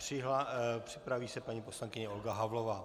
Připraví se paní poslankyně Olga Havlová.